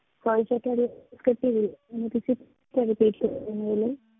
Sorry sir ਤੁਹਾਡੀ ਆਵਾਜ਼ ਕੱਟੀ ਗਈ